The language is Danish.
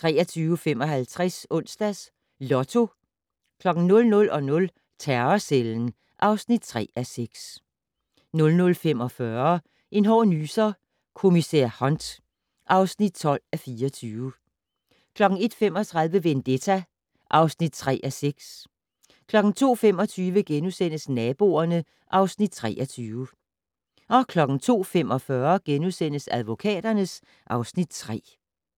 23:55: Onsdags Lotto 00:00: Terrorcellen (3:6) 00:45: En hård nyser: Kommissær Hunt (12:24) 01:35: Vendetta (3:6) 02:25: Naboerne (Afs. 23)* 02:45: Advokaterne (Afs. 3)*